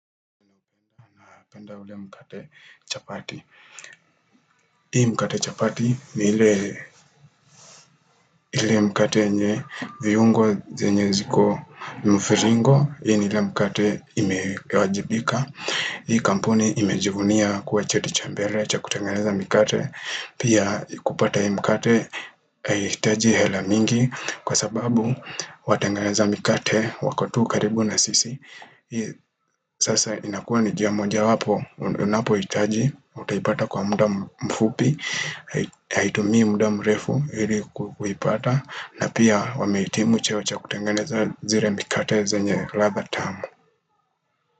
Penda ule mkate chapati hii mkate chapati ni ile mkate nye viungo zenye ziko mfiringo, hii ni ile mkate imewajibika hii kampuni imejivunia kuwa cheti cha mbele cha kutengeneza mikate pia kupata hii mkate Hahitaji hela mingi kwa sababu watengeza mikate wako tu karibu na sisi sasa inakua ni njia moja wapo unapohitaji utaipata kwa muda mfupi Haitumia muda mrefu hili kuipata na pia wameitimu cheo cha kutengeneza zile mikate zenye ladha tamu.